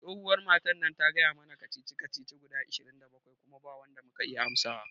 Tsohuwar matar ta gaya mana kacici kacici guda ishirin da bakwai kuma ba wanda muka iya amsawa